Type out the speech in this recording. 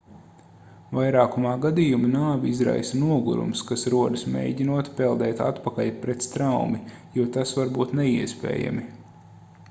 vairākumā gadījumu nāvi izraisa nogurums kas rodas mēģinot peldēt atpakaļ pret straumi jo tas var būt neiespējami